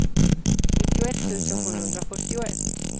nittioett tusen sjuhundrafyrtioett